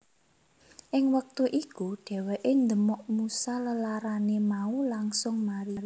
Ing wektu iku dheweké ndemok Musa lelarané mau langsung mari